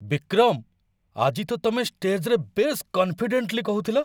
ବିକ୍ରମ! ଆଜି ତ ତମେ ଷ୍ଟେଜ୍‌ରେ ବେଶ୍ କନ୍‌ଫିଡେଣ୍ଟ୍‌ଲି କହୁଥିଲ!